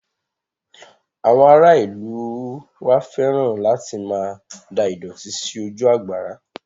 Àwọn ará ìlú u wa fẹ́ràn láti máa da ìdọ̀tí sí ojú àgbàrá